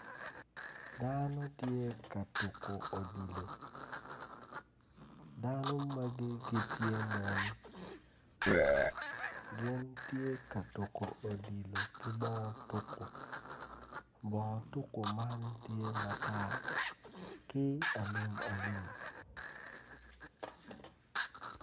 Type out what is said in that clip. Dano tye ka tuku odilo dano magi gitye mon gin tye ka tuku odilo ki bongo odilo bono tuku man tye matar ki alum alum